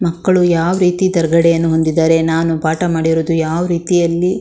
ಮಕ್ಕಳು ಯಾವ್ ರೀತಿ ತೇರ್ಗಡೆಯನ್ನು ಹೊಂದಿದ್ದಾರೆ ನಾನು ಪಾಠ ಮಾಡಿರೋದು ಯಾವ್ ರೀತಿಯಲ್ಲಿ.